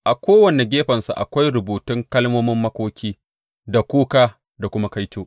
A kowane gefensa akwai rubutun kalmomin makoki da kuka da kuma kaito.